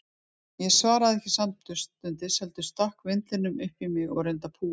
Ég svaraði ekki samstundis, heldur stakk vindlinum upp í mig og reyndi að púa hann.